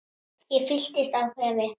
Ég fyllist af kvefi.